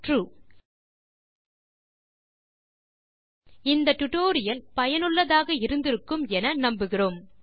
true இந்த tutorial சுவாரசியமாகவும் பயனுள்ளதாகவும் இருந்திருக்கும் என நம்புகிறேன்